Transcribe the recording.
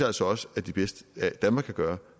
altså også at det bedste danmark kan gøre